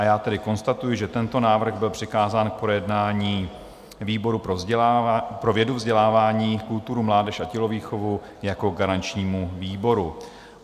A já tedy konstatuji, že tento návrh byl přikázán k projednání výboru pro vědu, vzdělávání, kulturu, mládež a tělovýchovu jako garančnímu výboru.